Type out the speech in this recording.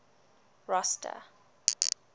rosta